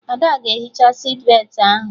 Ada ga-ehicha sitbetị ahụ